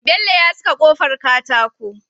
Bello ya saka kofar katako